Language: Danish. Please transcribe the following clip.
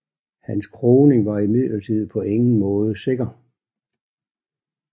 Hans kroning var imidlertid på ingen måde sikker